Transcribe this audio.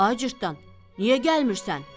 Ay cırtdan, niyə gəlmirsən?